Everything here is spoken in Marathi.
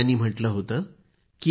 त्यांनी म्हटलं होतं की